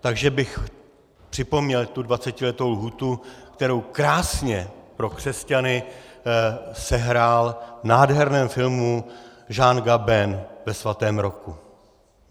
Takže bych připomněl tu dvacetiletou lhůtu, kterou krásně pro křesťany sehrál v nádherném filmu Jean Gabin ve Svatém roku.